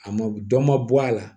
A ma dɔ ma bɔ a la